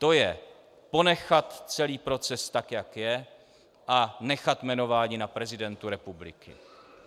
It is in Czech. To je ponechat celý proces tak, jak je, a nechat jmenování na prezidentu republiky.